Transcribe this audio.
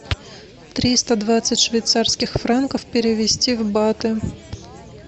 триста двадцать швейцарских франков перевести в баты